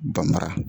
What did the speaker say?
Banmara